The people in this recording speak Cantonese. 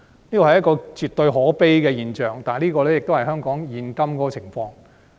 這是一種絕對可悲的現象，但卻是香港的現況。